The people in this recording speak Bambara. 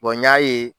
n y'a ye